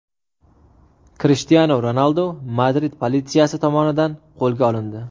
Krishtianu Ronaldu Madrid politsiyasi tomonidan qo‘lga olindi.